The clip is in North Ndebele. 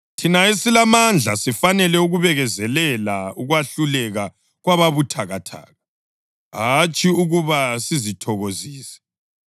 Thina esilamandla sifanele ukubekezelela ukwehluleka kwababuthakathaka, hatshi ukuba sizithokozise.